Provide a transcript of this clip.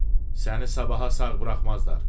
Səni sabaha sağ buraxmazlar.